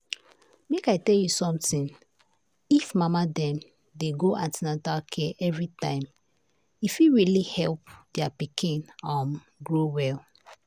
make i tell you something if mama dem dey go an ten atal care every time e fit really help their pikin um grow well.